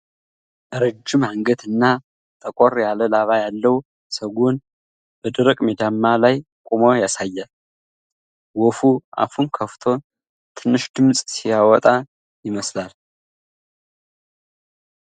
ረጅም አንገት እና ጠቆር ያለ ላባ ያለው ሰጎን በደረቅ ሜዳማ ላይ ቆሞ ያሳያል። ወፉ አፉን ከፍቶ ትንሽ ድምጽ ሲያወጣ ይመስላል።